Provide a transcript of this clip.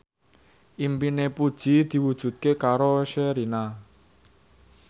impine Puji diwujudke karo Sherina